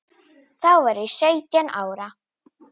Þá var ég sautján ára.